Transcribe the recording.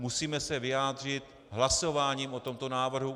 Musíme se vyjádřit hlasováním o tomto návrhu.